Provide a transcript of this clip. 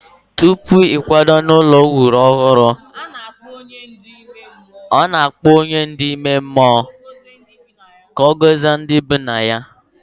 Tupu ịkwaga n'ụlọ e wuru ọhụrụ, a na-akpọ onye ndu ime mmụọ ka ọ gọzie ndị bi na ya.